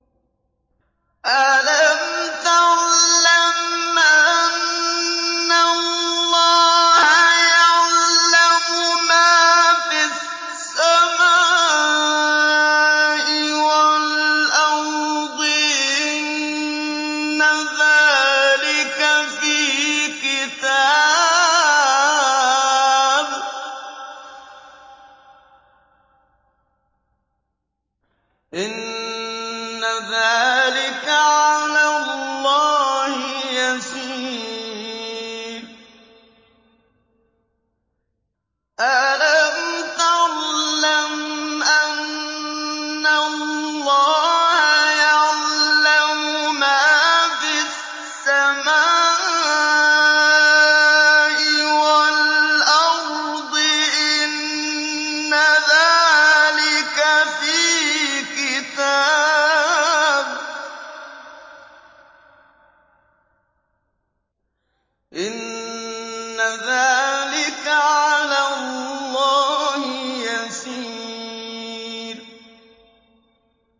أَلَمْ تَعْلَمْ أَنَّ اللَّهَ يَعْلَمُ مَا فِي السَّمَاءِ وَالْأَرْضِ ۗ إِنَّ ذَٰلِكَ فِي كِتَابٍ ۚ إِنَّ ذَٰلِكَ عَلَى اللَّهِ يَسِيرٌ